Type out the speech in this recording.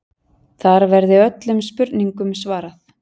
Þar verði öllum spurningum svarað